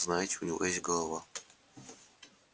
знаете у него есть голова